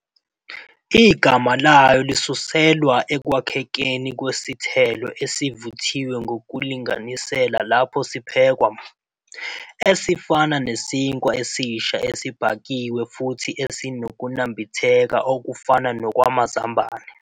Igama layo lisuselwa ekwakhekeni kwesithelo esivuthiwe ngokulinganisela lapho siphekwa, esifana nesinkwa esisha esibhakiwe futhi esinokunambitheka okufana nokamazambane.